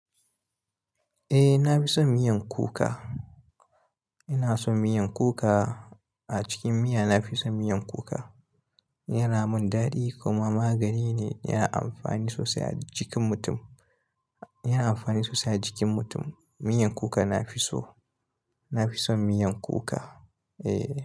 Eh, na fi son miyan kuka. Ina son miyan kuka. A cikin miya, na fi son miyan kuka. Yana mun daɗi kuma magani ne, yana amfani sosai a jikin mutum. Yana amfani sosai a jikin mutum. Miyan kuka nafi so. Na fi son miyan kuka. Eh.